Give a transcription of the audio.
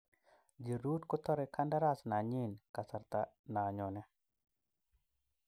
Giroud kotore kandaras nanyin kasarta na nyone.